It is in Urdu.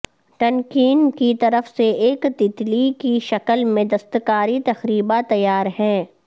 ٹن کین کی طرف سے ایک تیتلی کی شکل میں دستکاری تقریبا تیار ہیں